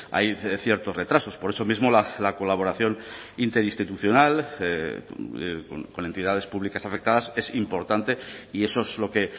hay ciertos retrasos por eso mismo la colaboración interinstitucional con entidades públicas afectadas es importante y eso es lo que